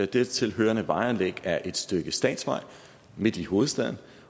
dertil hørende vejanlæg er et stykke statsvej midt i hovedstaden